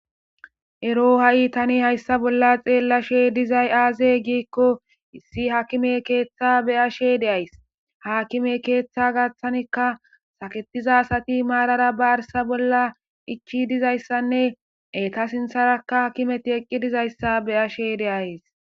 ero ha7i tani hayssa bolla xeellashe dizay aaze giikko issi hakime keeththa beyashe deays hakime keeththa gaththanikka saketiza asati maarara ba arsa bolla ichi dizayssanne eta sintharakka hkimeti eqqi dizayssa beyashe deays